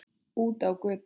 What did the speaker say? Út á götu.